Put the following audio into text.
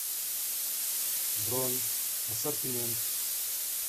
бронь ассортимент